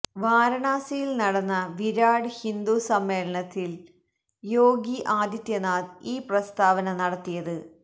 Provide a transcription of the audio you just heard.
വാരാണസിയില് നടന്ന വിരാട് ഹിന്ദു സമ്മേളനത്തിലാണ് യോഗി ആദിത്യനാഥ് ഈ പ്രസ്താവന നടത്തിയത്